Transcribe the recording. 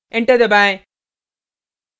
enter दबाएँ